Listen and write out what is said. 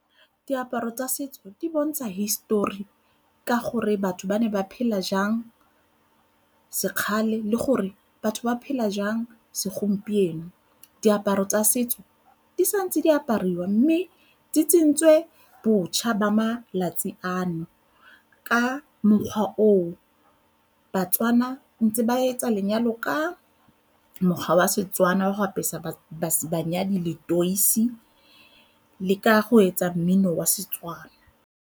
Diaparo tsa setso di bontsha hisitori ka gore batho ba ne ba phela jang sekgale le gore batho ba phela jang segompieno. Diaparo tsa setso di sa ntse di apariwa mme di tsentswe botjha ba malatsi ano ka mokgwa oo baTswana ntse ba etsa lenyalo ka mokgwa wa Setswana wa go apesa banyadi letoisi le ka go etsa mmino wa Setswana.